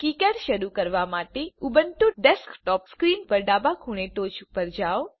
KiCad શરુ કરવા માટે ઉબુન્ટુ ડેસ્કટોપ સ્ક્રીન ઉપર ડાબા ખૂણે ટોચ પર જાઓ